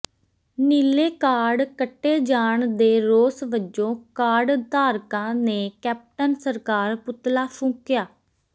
ਨੀਲੇ ਕਾਰਡ ਕੱਟੇ ਜਾਣ ਦੇ ਰੋਸ ਵਜੋਂ ਕਾਰਡ ਧਾਰਕਾਂ ਨੇ ਕੈਪਟਨ ਸਰਕਾਰ ਪੁਤਲਾ ਫੂਕਿਆ